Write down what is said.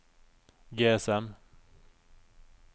GSM